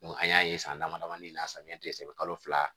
an y'a ye san dama damanin na samiyɛ tɛ se kalo fila